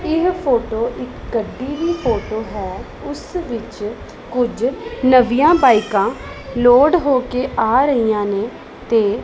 ਇਹ ਫੋਟੋ ਇੱਕ ਗੱਡੀ ਦੀ ਫੋਟੋ ਹੈ ਉੱਸ ਵਿੱਚ ਕੁੱਝ ਨਵੀਆਂ ਬਾਇਕਾਂ ਲੋਡ ਹੋ ਕੇ ਆ ਰਹੀਆਂ ਨੇਂ ਤੇ--